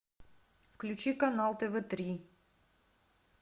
включи канал тв три